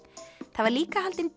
það var líka haldin